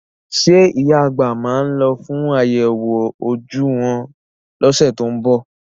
Ṣé ìyá àgbà máa lọ fún àyẹ̀wò ojú wọn lọ́sẹ̀ tó ń bọ̀?